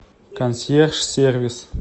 консьерж сервис